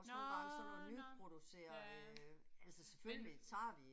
Nåh nåh, ja, men